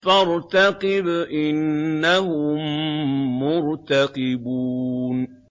فَارْتَقِبْ إِنَّهُم مُّرْتَقِبُونَ